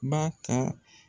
Ba ka